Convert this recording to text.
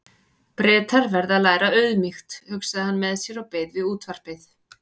Bretar verða að læra auðmýkt, hugsaði hann með sér og beið við útvarpið.